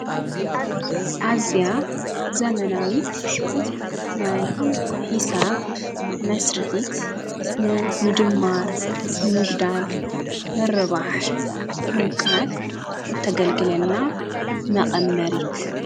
ኣዚያ ዘመናዊት ናይ ሕሳብ መሳሪሒትሲ ንምድማር ኑምጕዳል መረባሕ መምቃል እተገልግለና መቐመሪት።